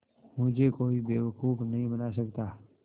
मुझे कोई बेवकूफ़ नहीं बना सकता